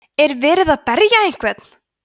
er verið að berja einhvern